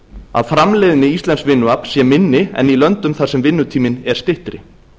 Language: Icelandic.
að framleiðni íslensks vinnuafls sé minni en í löndum þar sem vinnutími er styttri